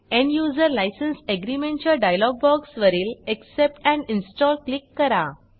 end user licence agreement च्या dialogue बॉक्सवरील accept and install click करा